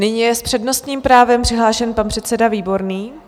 Nyní je s přednostním právem přihlášen pan předseda Výborný.